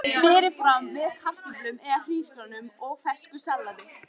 Berið fram með kartöflum eða hrísgrjónum og fersku salati.